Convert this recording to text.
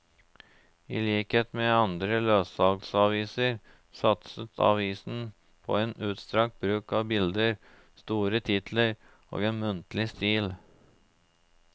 I likhet med andre løssalgsaviser satset avisen på en utstrakt bruk av bilder, store titler og en muntlig stil.